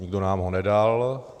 Nikdo nám ho nedal.